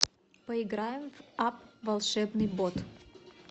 поиграем в апп волшебный бот